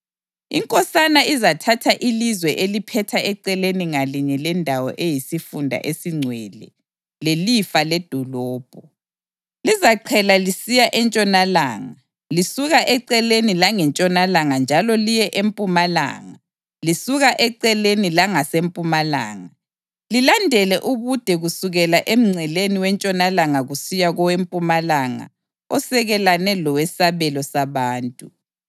Inkosana izathatha ilizwe eliphetha eceleni ngalinye lendawo eyisifunda esingcwele lelifa ledolobho. Lizaqhela lisiya entshonalanga lisuka eceleni langentshonalanga njalo liye empumalanga lisuka eceleni langasempumalanga, lilandele ubude kusukela emngceleni wentshonalanga kusiya kowempumalanga osekelane lowesabelo sabantu.